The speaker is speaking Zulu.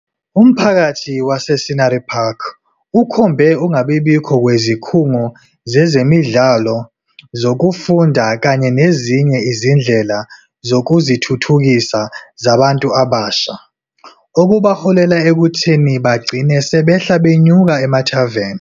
Umphakathi wase-Scenery Park ukhombe ukungabibikho kwezikhungo zezemidlalo, zokufunda kanye nezinye izindlela zokuzithuthukisa zabantu abasha, okubaholela ekutheni bagcine 'sebehla benyuka emathaveni'.